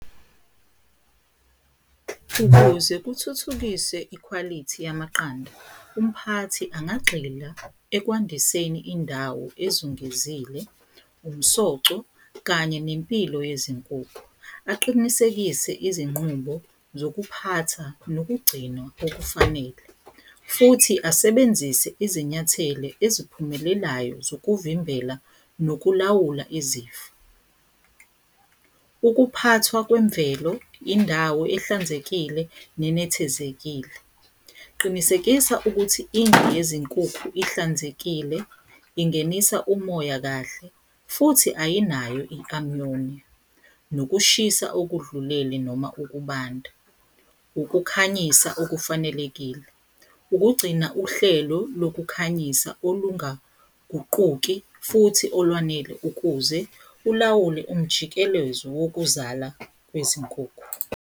Ukuze kuthuthukiswe ikhwalithi yamaqanda umphathi angagxila ekwandiseni indawo ezungezile, umsoco kanye nempilo yezinkukhu aqinisekise izinqubo zokuphatha nokugcinwa okufanele. Futhi asebenzise izinyathele eziphumelelayo zokuvimbela nokulawula izifo, ukuphathwa kwemvelo, indawo ehlanzekile, nenethezekile. Qinisekisa ukuthi indlu yezinkukhu ihlanzekile, ingenisa umoya kahle, futhi ayinayo i-amuyoni, nokushisa okudlulele noma ukubanda, ukukhanyisa okufanelekile, ukugcina uhlelo lokukhanyisa olungaguquki futhi olwanele ukuze ulawule umjikelezo wokuzala kwezinkukhu.